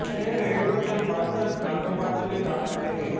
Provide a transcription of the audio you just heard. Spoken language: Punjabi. ਉਸ ਨੇ ਰੇਡੀਓ ਤੇ ਮੰਚ ਰੰਗਮੰਚ ਲਈ ਨਾਟਕ ਲਿਖੇ